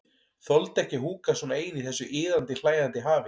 Þoldi ekki að húka svona ein í þessu iðandi, hlæjandi hafi.